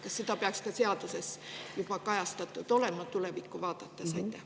Kas see peaks ka seaduses juba kajastatud olema, tulevikku vaadates?